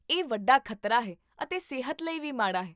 ਇਹ ਵੱਡਾ ਖ਼ਤਰਾ ਹੈ ਅਤੇ ਸਿਹਤ ਲਈ ਵੀ ਮਾੜਾ ਹੈ